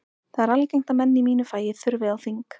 Það er algengt að menn í mínu fagi þurfi á þing.